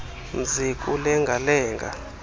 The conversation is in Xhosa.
mzi kulenga lenga